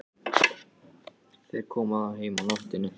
Þeir koma þó heim á nóttunni.